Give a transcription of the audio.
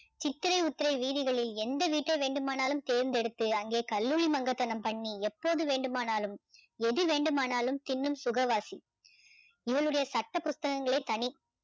சித்திரை உத்திரை வீதிகளில் எந்த வீட்டை வேண்டுமானாலும் தேர்ந்தெடுத்து அங்கே கல்லூளிமங்கதனம் பண்ணி எப்போது வேண்டுமானாலும் எது வேண்டுமானாலும் தின்னும் சுகவாசி இவளுடைய சட்ட புஸ்தகங்களே தனி